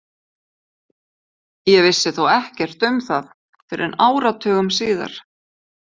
Ég vissi þó ekkert um það fyrr en áratugum síðar.